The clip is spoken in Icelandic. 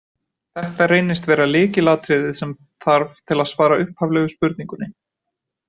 Þetta reynist vera lykilatriðið sem þarf til að svara upphaflegu spurningunni.